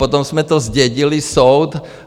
Potom jsme to zdědili, soud...